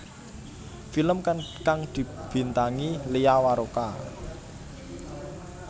Film kang dibintangi Lia Waroka